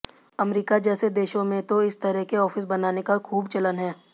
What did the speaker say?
अमरीका जैसे देशों में तो इस तरह के ऑफिस बनाने का खूब चलन है